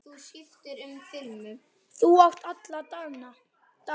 Þú átt alla dagana.